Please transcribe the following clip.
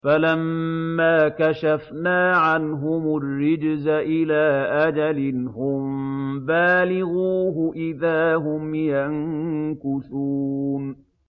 فَلَمَّا كَشَفْنَا عَنْهُمُ الرِّجْزَ إِلَىٰ أَجَلٍ هُم بَالِغُوهُ إِذَا هُمْ يَنكُثُونَ